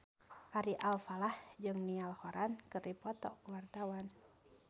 Ari Alfalah jeung Niall Horran keur dipoto ku wartawan